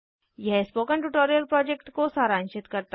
यह spoken tutorial project को सारांशित करता है